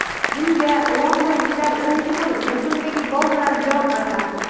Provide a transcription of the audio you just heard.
Bunga londonliklar birinchi bo‘lim yakunidagi gol bilan javob qaytardi.